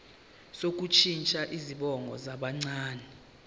sokushintsha izibongo zabancane